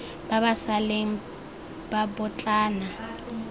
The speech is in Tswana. ba ba sa leng babotlana